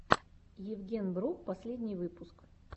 евгенбро последний выпуск